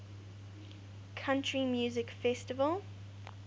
country music festival